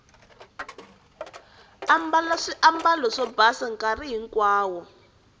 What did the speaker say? ambala swiambalo swo basa nkarhi hinkwawo